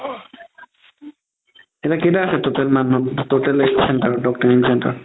এতিয়া কেইটা আছে total মান total center